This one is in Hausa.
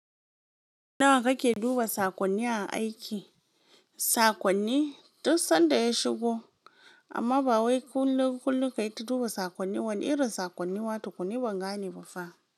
Nawa kake duba saƙonni a aiki? Saƙonni, duk sanda ya shigo, amma ba wai kullum kullum ka yi ta duba saƙonnin wane irin saƙonni ma tukun ni ban gane ba fa.